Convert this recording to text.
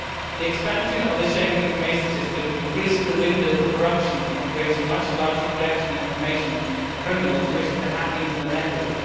The expansion of the Schengen Information System increases the window for corruption and creates a much larger collection of information for criminals wishing to hack into the network.